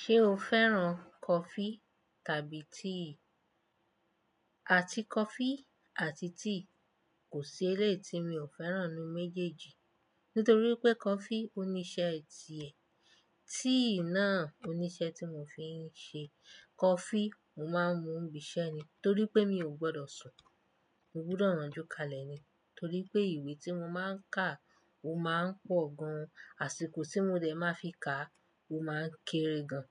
Ṣé o fẹ́ràn coffee tàbí tea? Àti coffee àti tea. Kò sí eléeti mi ò fẹ́ràn ní méjèèjì. Nítorí pé coffee ó ní iṣẹ́ ẹ tiẹ̀. Tea náà ó ní iṣẹ́ tí mo fi ń ṣe. Coffee, mo máa ń mu bi isẹ́ ni. Torí pé mi ò gbọdọ̀ sùn. Mo gbúdọ̀ rànjú kalẹ̀ ni. Torí pé ìwé tí mo máa ń kà ó máa ń pọ̀ gan. Àsìkò tí mo dẹ̀ máa fi kà a ó máa ń kéré gan.